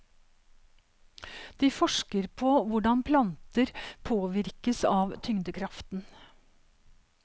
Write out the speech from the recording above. De forsker på hvordan planter påvirkes av tyngdekraften.